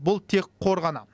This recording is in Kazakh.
бұл тек қор ғана